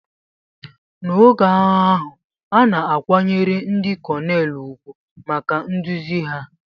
N'oge agha ahụ, a na-akwanyere ndị Konelu ùgwù maka nduzi ha.